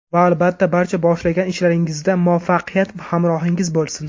Va, albatta, barcha boshlagan ishlaringizda muvaffaqiyat hamrohingiz bo‘lsin!